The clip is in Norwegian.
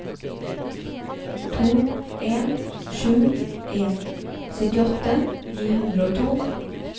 to en sju en syttiåtte ni hundre og to